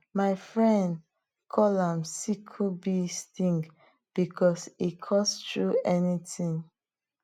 mai fren call am sickle bee sting bicos it cuts through anything